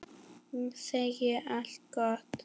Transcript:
Ég segi allt gott.